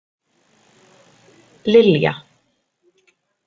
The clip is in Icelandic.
Lilja